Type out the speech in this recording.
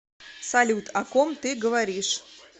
салют о ком ты говоришь